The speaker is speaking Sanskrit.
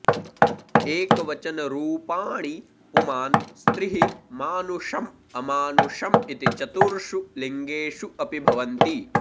एकवचनरूपाणि पुमान् स्त्रीः मानुषम् अमानुषम् इति चतुर्षु लिङ्गेषु अपि भवन्ति